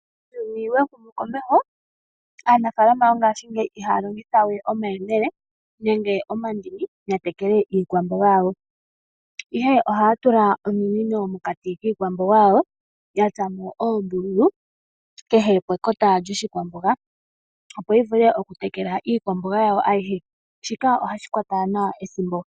Uuyuni wahuma komeho aanafaalama yongashingeyi ihaya longitha we omayemele nenge omandini yatekele iikwamboga yawo, ihe ohaya tula ominino mokati kiikwamboga yawo yatsa mo oombululu kehe pekota lyoshikwamboga opo yivule okutekela iikwamboga yawo ayihe, shika ohashi kwata nawa ethimbo.